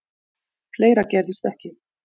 Fleira gerðist ekki.